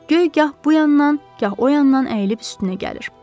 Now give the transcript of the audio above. Göy gah bu yandan, gah o yandan əyilib üstünə gəlir.